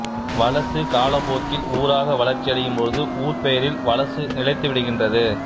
வலசு காலப்போக்கில் ஊராக வளர்ச்சியடையும் பொழுது ஊர்ப்பெயரில் வலசு நிலைத்து விடுகின்றது